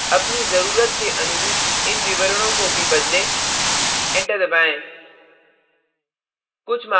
अपनी जरूरत के अनुरूप इन विवरणों को भी बदलें enter दबाएँ